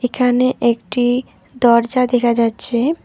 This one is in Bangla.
এখানে একটি দরজা দেখা যাচ্ছে।